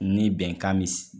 Ni bɛnkan misi